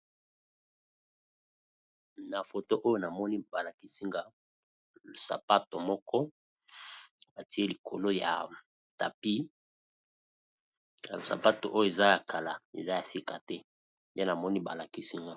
Na Photo oyo na moni ba lakisi nga sapato moko ba ttié likolo ya tapis. Sapato oyo eza ya kala, eza ya sika te nde na moni ba lakisi nga .